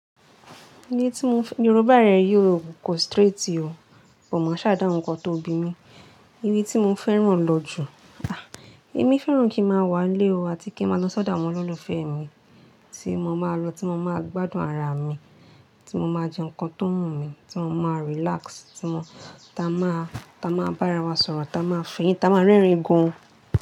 Iye tí mo f-- Yorùbá rẹ yóò go straight o, mo máa ṣàdá ohun kan tó bí mi. Iye tí mo fẹ́ràn lọ jù, ah! Èmi fẹ́ràn kí ń máa wà nilé o àti kí ń máa lọ ṣọ́dá àwọn olólùfẹ́ mi tí mo máa lọ, tí mo máa gbádùn ara mi, tí mo máa jẹ nǹkan tó wù mí, tí mo máa relax, tí mo-- ta máa, ta máa bára wa sọ̀rọ̀, ta máa fìyà, ta máa rẹ́rìn gan.